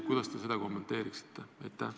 Kuidas te seda kommenteeriksite?